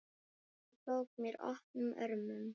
Hún tók mér opnum örmum.